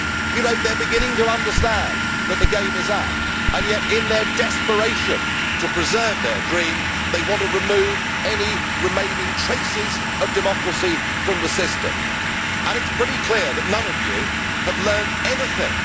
You know, they are beginning to understand that the game is up and yet, in their desperation to preserve their dream, they want to remove any remaining traces of democracy from the system. It is pretty clear that none of you have learned anything.